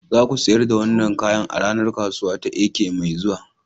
Za ku sayar da wannan kayan a ranar kasuwa ta Eke mai zuwa.